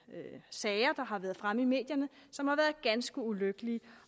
sager der har været fremme i medierne som har været ganske ulykkelige